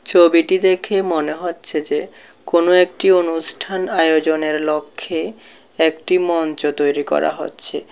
ছবিটি দেখে মনে হচ্ছে যে কোনো একটি অনুষ্ঠান আয়োজনের লক্ষ্যে একটি মঞ্চ তৈরি করা হচ্ছে।